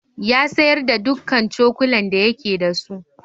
Ya sayar da dukkan cokulan da yake da su.